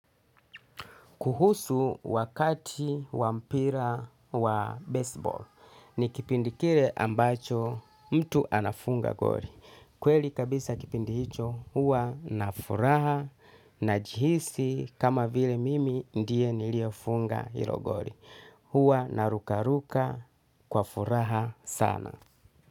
Kuhusu wakati wampira wa baseball ni kipindi kile ambacho mtu anafunga goli. Kweli kabisa kipindi hicho hua na furaha na jihisi kama vile mimi ndiye niliyefunga hilo gori. Hua naruka ruka kwa furaha sana.